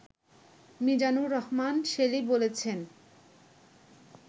মিজানুর রহমান শেলী বলছেন